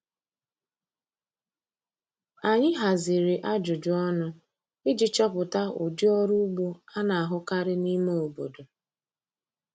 Anyị haziri ajụjụ ọnụ iji chọpụta ụdị ọrụ ugbo a na-ahụkarị n’ime obodo.